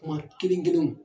Kuma kelen kelenw.